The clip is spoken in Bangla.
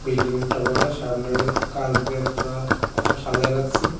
বি একটা বড় সামনে কাঁচ দিয়ে পুরা সাজায় রাখছে।